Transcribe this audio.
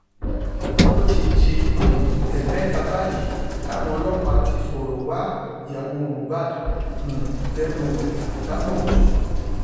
ó ti di um ẹẹmẹta báyìí táwọn ọlọpàá ti fọrọ wá ìyàwó mohbad um lẹnu wò ìyàbọ ọjọ